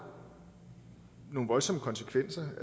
nogle voldsomme konsekvenser